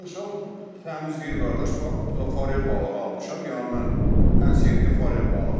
Almışam, təmiz deyir qardaş, fakt bəli, forel balığı almışam, yəni mən ən sevdiyim forel balığıdır.